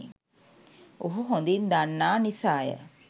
ඔහු හොඳින් දන්නා නිසාය.